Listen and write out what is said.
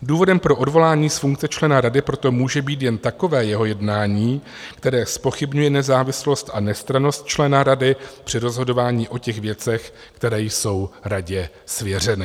Důvodem pro odvolání z funkce člena rady proto může být jen takové jeho jednání, které zpochybňuje nezávislost a nestrannost člena rady při rozhodování o těch věcech, které jsou radě svěřeny.